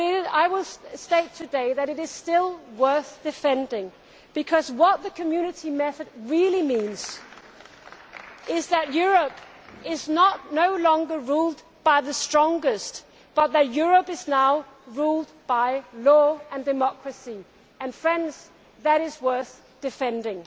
I will state today that it is still worth defending because what the Community method really means is that Europe is no longer ruled by the strongest, but that Europe is now ruled by law and democracy. Friends, that is worth defending.